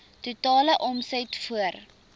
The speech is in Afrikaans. totale omset voor